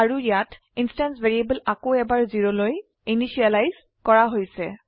আৰু ইয়াত instance variable আকৌ এবাৰ 0লৈ ইনিসিয়েলাইজ কৰা হৈছে